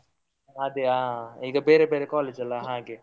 ಅದೇ ಹಾ, ಈಗ ಬೇರೆ ಬೇರೆ college ಅಲ್ಲ ಹಾಗೆ.